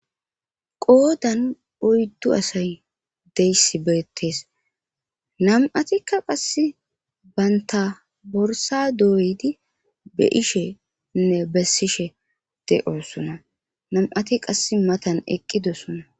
Qoodan oyddu asay deyssi beettees nam7atikka qass baynta borsa dooydi be ishenne bessishe de oossona nam7ati qass matan eqqidossona